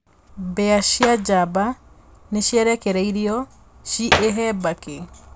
Mbĩa cia jamba nĩciarekereirio ciĩhe mbakĩ